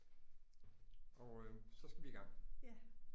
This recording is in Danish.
Og øh så skal vi i gang